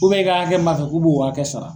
i ka hakɛ b'a fɛ k' b'o hakɛ sara.